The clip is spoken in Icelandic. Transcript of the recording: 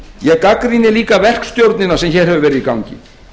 ég gagnrýni líka verkstjórnina sem hér hefur verið í gangi